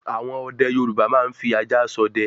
àwọn ọdẹ Yorùbá máa ń fi ajá s'ọdẹ